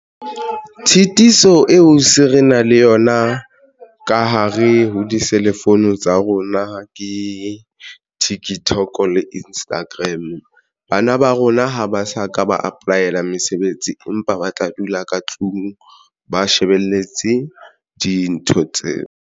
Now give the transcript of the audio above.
Tshitiso eo se re na le yona ka hare ho diselefounu tsa rona ke TikTok le Instagram. Bana ba rona ha ba sa ka ba apply-la mesebetsi empa ba tla dula ka tlung ba shebeletse dintho tseo.